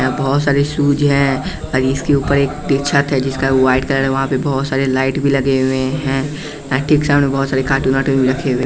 बहुत सारे शूज हैं और इसके ऊपर एक छत है जिसका वाइट कलर है वहाँ पे बहुत सारे लाइट में लगे हुए हैं ठीक सामने बहुत सारे कार्टून --